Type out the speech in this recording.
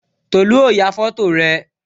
Tolu ó ya foto rẹ